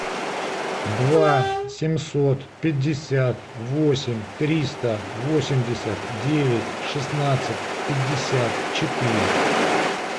два семьсот пятьдесят восемь триста восемьдесят девять шестнадцать пятьдесят четыре